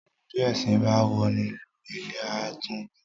Bí èsìn ba woni lù ilé a tún gun ún.